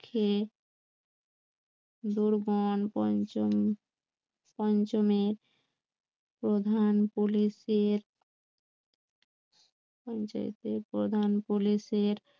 খেয়ে পঞ্চম পঞ্চমের প্রধান পুলিশের পঞ্চায়েতের প্রধান পুলিশের